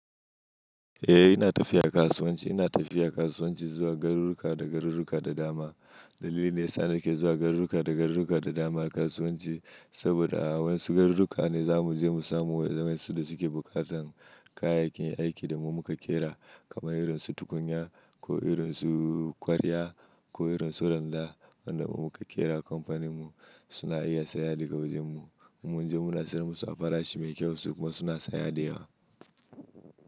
Eh ina tafiya kasuwanci, ina tafiya kasuwanci zuwa garuruka da garuruka da dama. Dalilin dayasa nake zuwa garuruka da garuruka da dama kasuwanci saboda a wasu garuruka ne za mu je mu samu wa'yansu da suke bukatan kayayyakin aiki da muka ƙera kamar irin su tukunya ko irin su kwarya ko irin su randa wanda muka ƙera kamfanin mu suna iya saya daga wajen mu. Mun je muna siyar musu a farashi mai kyau su kuma suna saya da yawa.